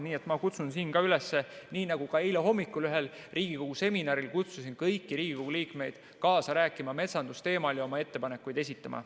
Nii et ma kutsun siin üles nii nagu ka eile hommikul ühel Riigikogu seminaril kutsusin kõiki Riigikogu liikmeid kaasa rääkima metsandusteemal ja oma ettepanekuid esitama.